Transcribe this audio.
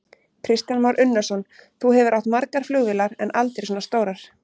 Kristján Már Unnarsson: Þú hefur átt margar flugvélar, en aldrei svona stórar?